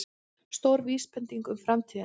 Stór vísbending um framtíðina